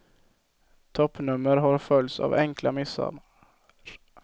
Toppnummer har följts av enkla missar.